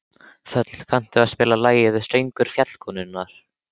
Þöll, kanntu að spila lagið „Söngur fjallkonunnar“?